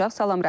Salam Rəhman.